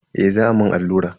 Eh za a mun allura.